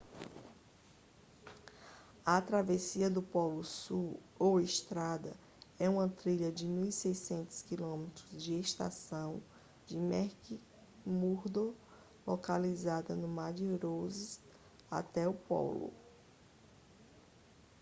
a travessia do polo sul ou estrada é uma trilha de 1.600 km da estação de mcmurdo localizada no mar de ross até o polo